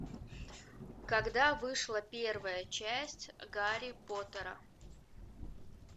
когда вышла первая часть гарри поттера